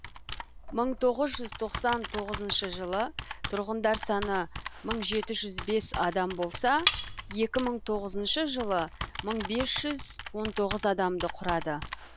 мың тоғыз жүз тоқсан тоғызыншы жылы тұрғындар саны мың жеті жүз бес адам болса екі мың тоғызыншы жылы мың бес жүз он тоғыз адамды құрады